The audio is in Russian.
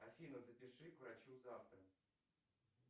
афина запиши к врачу завтра